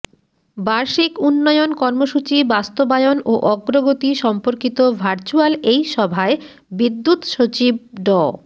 বার্ষিক উন্নয়ন কর্মসূচি বাস্তবায়ন ও অগ্রগতি সম্পর্কিত ভার্চ্যুয়াল এই সভায় বিদ্যুৎ সচিব ড